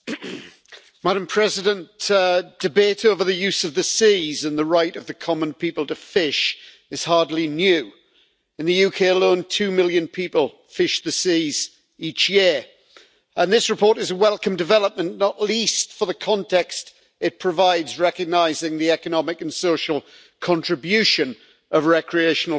Madam President, debate over the use of the seas and the right of the common people to fish is hardly new. In the UK alone, two million people fish the seas each year, and this report is a welcome development, not least for the context it provides recognising the economic and social contribution of recreational fishing.